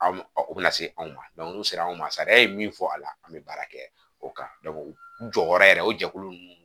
An o bɛna se anw ma n'u sera anw ma sariya ye min fɔ a la an bɛ baara kɛ o kan jɔyɔrɔ yɛrɛ o jɛkulu ninnu